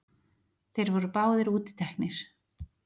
Þeir voru báðir útiteknir.